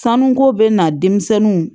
Sanuko bɛ na denmisɛnninw